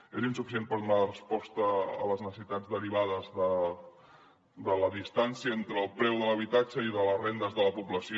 és insuficient per donar resposta a les necessitats derivades de la distància entre el preu de l’habitatge i les rendes de la població